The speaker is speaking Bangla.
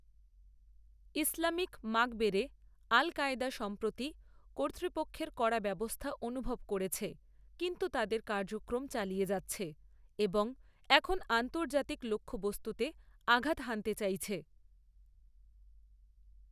ইসলামিক মাগরেবে আল কায়েদা সম্প্রতি কর্তৃপক্ষের কড়া ব্যবস্থা অনুভব করেছে, কিন্তু তাদের কার্যক্রম চালিয়ে যাচ্ছে এবং এখন আন্তর্জাতিক লক্ষ্যবস্তুতে আঘাত হানতে চাইছে।